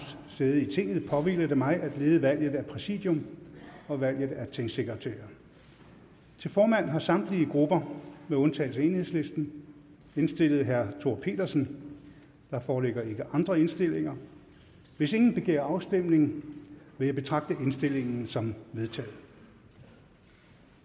sæde i tinget påhviler det mig at lede valget af præsidium og valget af tingsekretærer til formand har samtlige grupper med undtagelse af enhedslisten indstillet herre thor pedersen der foreligger ikke andre indstillinger hvis ingen begærer afstemning vil jeg betragte indstillingen som vedtaget